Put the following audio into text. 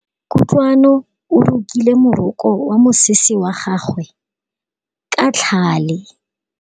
Kutlwanô o rokile morokô wa mosese wa gagwe ka tlhale.